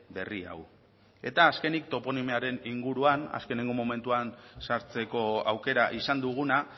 berri hau eta azkenik toponimiaren inguruan azkenengo momentuan sartzeko aukera izan duguna